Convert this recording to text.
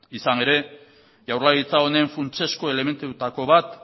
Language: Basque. izan ere jaurlaritza honen funtsezko elementuetako bat